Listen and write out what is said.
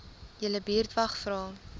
julle buurtwag vra